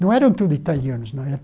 Não eram tudo italianos, não. Era